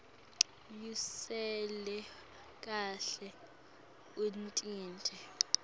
usale kahle utinte